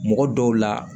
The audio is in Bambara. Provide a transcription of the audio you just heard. Mɔgɔ dɔw la